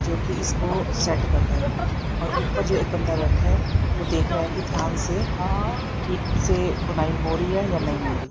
जो कि इसको सेट कर रहा है और ऊपर जो एक बंदा बैठा है वो देख रहा है कि ध्यान से कि ठीक से बुनाई हो रही है या नहीं हो रही।